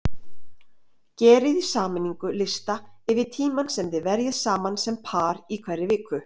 Gerið í sameiningu lista yfir tímann sem þið verjið saman sem par í hverri viku.